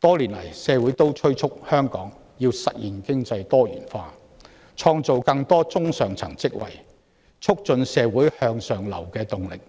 多年來，社會敦促政府實現香港經濟多元化，創造更多中上層職位，加強社會向上流的動力，